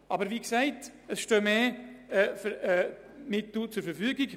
Aber wie gesagt stehen bereits mehr Mittel zur Verfügung.